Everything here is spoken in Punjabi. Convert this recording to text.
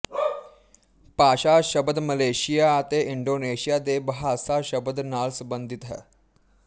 ਭਾਸ਼ਾ ਸ਼ਬਦ ਮਲੇਸ਼ੀਆ ਅਤੇ ਇੰਡੋਨੇਸ਼ੀਆ ਦੇ ਬਹਾਸਾ ਸ਼ਬਦ ਨਾਲ ਸੰਬੰਧਿਤ ਹੈ